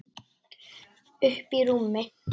Uppí rúmi.